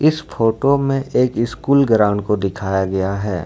इस फोटो में एक स्कूल ग्राउंड को दिखाया गया है।